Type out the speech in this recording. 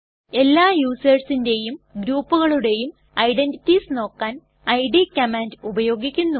എല്ലാ യുസെർസിന്റെയും ഗ്രൂപ്കളുടെയു ഐഡന്റിറ്റീസ് നോക്കാൻ ഇഡ് - കമാൻഡ് ഉപയോഗിക്കുന്നു